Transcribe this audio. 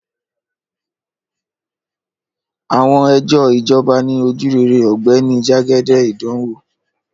Àwọn ẹjọ́ jọba ni ojurere ogbeni jagede idanwo